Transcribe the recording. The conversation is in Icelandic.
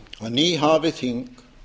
nýhafið þing